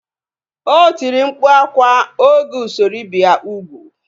O tiri mkpu akwa oge usoro ibi ya ugwu